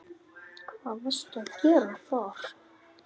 Hvað varstu að gera þar?